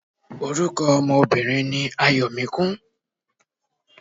Orúkọ ọmọ Obìnrin ni Ayọ̀míkún.